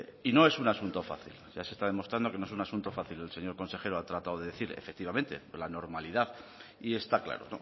y no es un asunto fácil ya se está demostrando que no es un asunto fácil el señor consejero ha tratado de decir efectivamente desde la normalidad y está claro